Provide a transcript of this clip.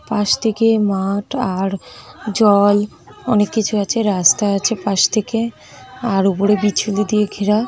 পাশ থেকে মাঠ আর জল অনেক কিছু আছেরাস্তা আছে পাশ থেকে আর উপরে বিচুলি দিয়ে ঘেরা ।